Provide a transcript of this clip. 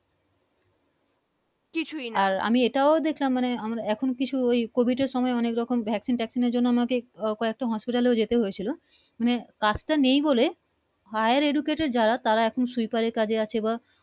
আর আমি এটাই দেখছিলাম মানে এখন কিছু ঐ Covid এর সময় অনেক রকম vaccine টেক্সিন জন্য আমাকে আহ কয়েকটা Hospital যেতে হয়েছিলো মানে পাস টা নেই বলে Higher Educated যারা তারা এখন সুইপারের কাজে আছে বা